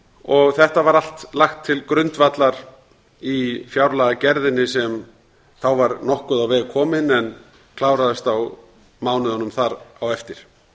og þetta var allt lagt til grundvallar í fjárlagagerðinni sem þá var nokkuð á veg komin en kláraðist á mánuðum þar á eftir